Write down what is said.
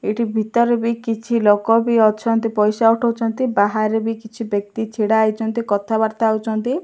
ଏଇଠି ଭିତରେ ବି କିଛି ଲୋକ ବି ଅଛନ୍ତି ପଇସା ଉଠଉଛନ୍ତି ବାହାରେ ବି କିଛି ବ୍ୟକ୍ତି ଛିଡ଼ା ହେଇଛନ୍ତି କଥାବାର୍ତ୍ତା ହଉଛନ୍ତି।